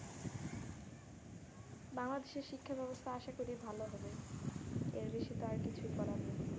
বাংলাদেশের শিক্ষা ব্যবস্থা আসা করি ভালো হবে এর বেশি তো আর কিছু করার নেই।